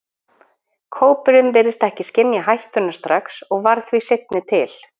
Kópurinn virtist ekki skynja hættuna strax og varð því seinni til.